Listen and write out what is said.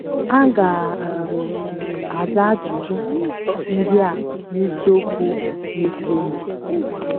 A ga um - aza ajụjụ ndị a n’isiokwu na - esonụ.